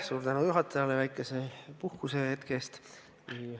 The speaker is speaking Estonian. Suur tänu juhatajale väikese puhkusehetke eest!